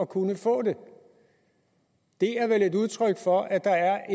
kunne få det det er vel et udtryk for at der